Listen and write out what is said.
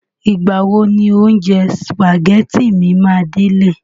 Ìgbà wo ni oúnjẹ sìpàgẹ́tì mi máa délẹ̀?